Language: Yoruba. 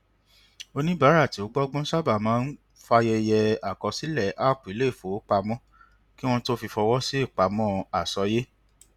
oníbàárà tí ó gbọgbọn sábà máa ń fàyẹyẹ àkọsílẹ app iléifowopamọ kí wọn tó fi fọwọ sí ipamọ àsọyé